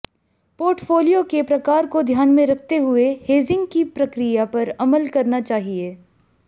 portfolio के प्रकार को ध्यान में रखते हुए हेजिंग की प्रक्रिया पर अमल करना चाहिए